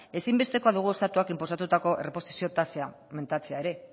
ezinbestekoa dugu estatuak inposatutako erreposizio tasa mentatzea ere